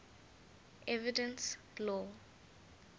evidence law